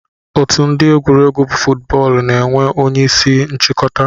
Otu ndi egwuregwu fuutbọọlụ na enwee onye isi nchikọta.